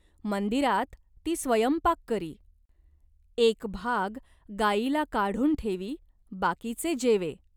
मंदिरात ती स्वयंपाक करी. एक भाग गायीला काढून ठेवी बाकीचे जेवे.